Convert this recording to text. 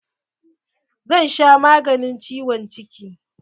Zan sha maganin ciwon ciki.